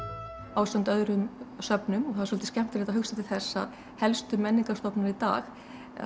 ásamt öðrum söfnum og það er svolítið skemmtilegt að hugsa til þess að helstu menningarstofnanir í dag